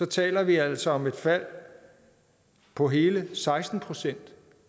taler vi altså om et fald på hele seksten procent